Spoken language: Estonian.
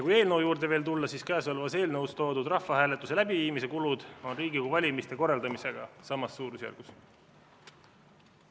Kui veel eelnõu juurde tulla, siis käesolevas eelnõus toodud rahvahääletuse läbiviimise kulud on Riigikogu valimiste korraldamisega samas suurusjärgus.